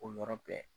O yɔrɔ bɛɛ